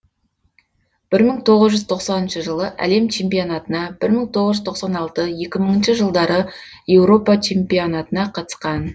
бір мың тоғыз жүз тоқсаныншы жылы әлем чемпионатына бір мың тоғыз жүз тоқсан алты екі мыңыншы жылдары еуропа чемпионатына қатысқан